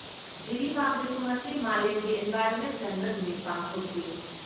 ꯖꯤꯔꯤꯕꯥꯝꯗꯁꯨ ꯉꯁꯤ ꯃꯥꯂꯦꯝꯒꯤ ꯏꯟꯚꯥꯏꯔꯣꯟꯃꯦꯟ ꯀꯟꯕ ꯅꯨꯃꯤꯠ ꯄꯥꯡꯊꯣꯛꯈꯤ ꯫